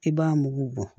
I b'a mugu bɔ